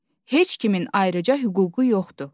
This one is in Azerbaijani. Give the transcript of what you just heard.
Heç kimin ayrıca hüququ yoxdur.